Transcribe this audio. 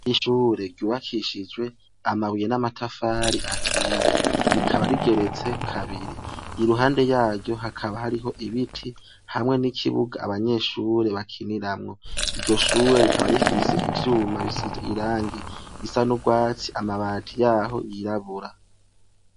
Nishure ryubakishijwe amabuye n'amatafari ahiye, rikaba rigeretse kabiri, i ruhande yaryo hakaba hariho ibiti hamwe n'ikibuga abanyeshure bakiniramwo, iryo shuwe rikaba rifise ivyuma bisize irangi risa n'urwatsi amabati yaho yirabura.